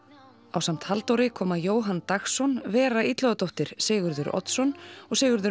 ásamt Halldóri koma Jóhann Dagsson Vera Sigurður Oddsson og Sigurður